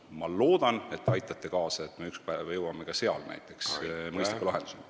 Ma loodan, et te aitate kaasa ja me jõuame ükspäev ka selles mõistliku lahenduseni.